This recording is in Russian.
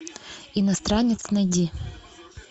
иностранец найди